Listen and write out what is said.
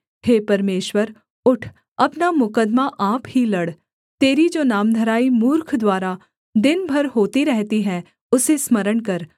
हे परमेश्वर उठ अपना मुकद्दमा आप ही लड़ तेरी जो नामधराई मूर्ख द्वारा दिन भर होती रहती है उसे स्मरण कर